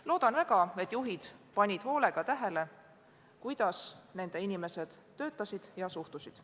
Loodan väga, et juhid panid hoolega tähele, kuidas nende inimesed töötasid ja olukorda suhtusid.